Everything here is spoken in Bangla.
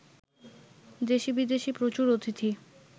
দেশী বিদেশী প্রচুর অতিথি